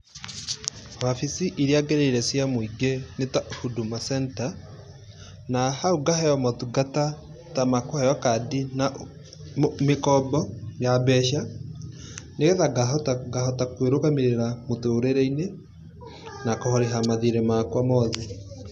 Wabici iria ngereire cia mũingĩ nĩ ta Huduma Center, na hau ngaheo maũtungata ta ma kũheo kandi na mĩkombo ya mbeca, nĩgetha ngahota kwĩrũgamĩrĩra mũtũrĩre-inĩ na kũrĩha mathiirĩ makwa mothe.